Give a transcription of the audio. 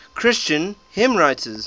christian hymnwriters